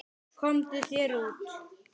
Komdu þér út.